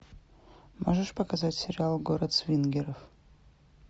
можешь показать сериал город свингеров